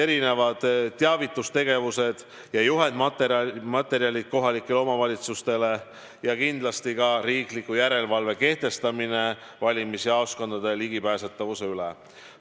Erinevad teavitustegevused ja juhendmaterjalid kohalikele omavalitsustele ja kindlasti ka riikliku järelevalve kehtestamine valimisjaoskondade ligipääsetavuse üle.